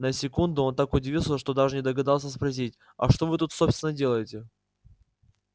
на секунду он так удивился что даже не догадался спросить а что вы тут собственно делаете